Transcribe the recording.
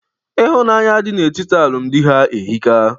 Ịhụnanya dị na etiti alụmdi ha ehika.